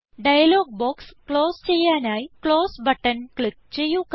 dialogue box close ചെയ്യാനായി close button click ചെയ്യുക